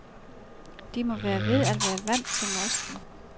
De må være ved at være vant til mosten.